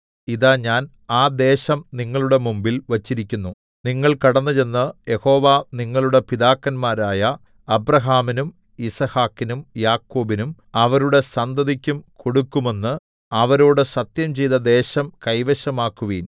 ഇതാ ഞാൻ ആ ദേശം നിങ്ങളുടെ മുമ്പിൽ വച്ചിരിക്കുന്നു നിങ്ങൾ കടന്നുചെന്ന് യഹോവ നിങ്ങളുടെ പിതാക്കന്മാരായ അബ്രാഹാമിനും യിസ്ഹാക്കിനും യാക്കോബിനും അവരുടെ സന്തതിക്കും കൊടുക്കുമെന്ന് അവരോട് സത്യംചെയ്ത ദേശം കൈവശമാക്കുവിൻ